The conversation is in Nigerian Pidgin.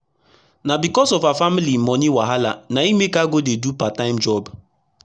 na becos of her family moni wahala na e make her go dey do part time job